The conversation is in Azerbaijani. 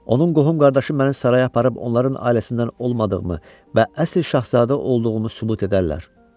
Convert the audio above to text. Onun qohum-qardaşı məni saraya aparıb onların ailəsindən olmadığımı və əsl şahzadə olduğumu sübut edərlər.